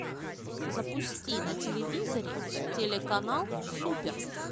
запусти на телевизоре телеканал супер